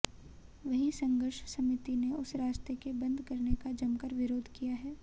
वहीं संघर्ष समिति ने उस रास्ते के बंद करने का जमकर विरोध किया है